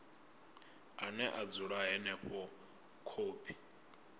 ane a dzula henefho khophi